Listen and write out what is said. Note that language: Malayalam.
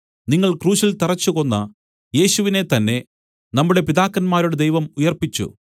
നിങ്ങൾ ക്രൂശിൽ തറച്ചുകൊന്ന യേശുവിനെ തന്നെ നമ്മുടെ പിതാക്കന്മാരുടെ ദൈവം ഉയിർപ്പിച്ചു